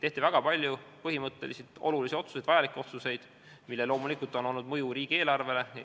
Tehti väga palju põhimõtteliselt olulisi vajalikke otsuseid, millel loomulikult on olnud mõju riigieelarvele.